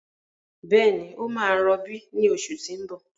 Bẹ́ẹ̀ni, ó máa rọbí ní oṣù tí ń bọ̀.